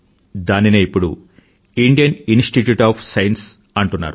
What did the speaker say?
దానినే ఇప్పుడు Indian institute of science అంటున్నారు